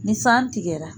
Ni san tigɛra